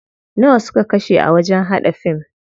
Nawa suka kashe a wajen haɗa fim?